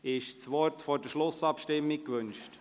Wird das Wort vor der Schlussabstimmung gewünscht?